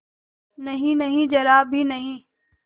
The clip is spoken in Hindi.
नहींनहीं जरा भी नहीं